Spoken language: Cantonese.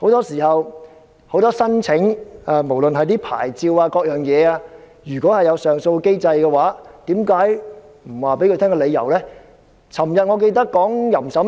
就申請牌照或其他事宜而言，如果有上訴機制，為何不向當事人提供理由呢？